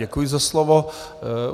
Děkuji za slovo.